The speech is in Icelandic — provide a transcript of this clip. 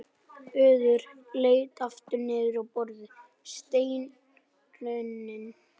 Urður leit aftur niður á borðið, steinrunnin.